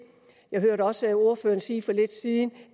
jeg hørte også ordføreren sige for lidt siden